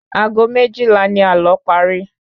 Ago méjìlá ni àlọ́ pari